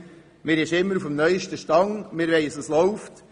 Man ist immer auf dem neusten Stand, und man weiss, was läuft.